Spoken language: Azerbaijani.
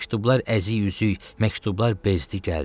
Məktublar əziy-üzüy, məktublar bezdi gəldi.